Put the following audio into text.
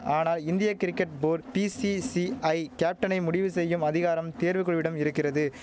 ஆனா இந்திய cricket board BCCI கேப்டனை முடிவு செய்யும் அதிகாரம் தேர்வு குழுவிடம் இருக்கிறது